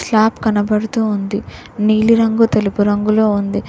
Slab కనపడుతూ ఉంది నీలి రంగు తెలుపు రంగులో ఉంది.